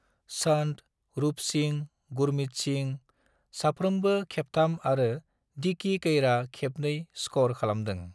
चंद, रूप सिंह, गुरमीत सिंह, साफ्रोमबो खेबथाम आरो डिकी कैरआ खेबनै स्खर खालामदों।